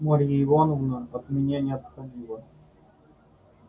марья ивановна от меня не отходила